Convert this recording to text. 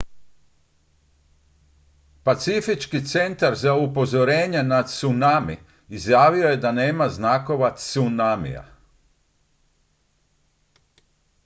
pacifički centar za upozorenje na tsunami izjavio je da nema znakova tsunamija